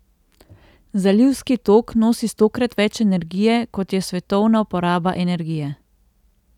Zalivski tok nosi stokrat več energije, kot je svetovna poraba energije.